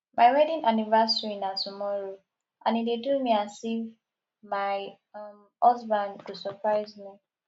my wedding anniversary na tomorrow and e dey do me as if my um husband go surprise me